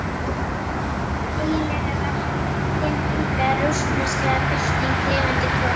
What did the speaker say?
Eiginlega var hann hin unga rússneska bylting lifandi komin.